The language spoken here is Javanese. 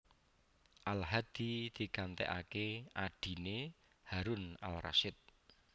Al Hadi digantèkaké adhiné Harun al Rashid